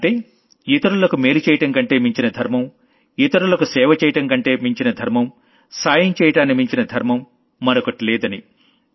అంటే ఇతరులకు మేలు చెయ్యడం కంటే మించిన ధర్మం ఇతరులకు సేవ చేయడం కంటే మించిన ధర్మం సాయం చెయ్యడాన్ని మించిన ధర్మం మరొకటి లేదని